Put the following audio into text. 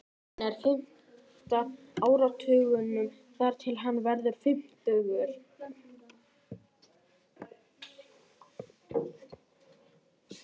Hann er á fimmta áratugnum þar til hann verður fimmtugur.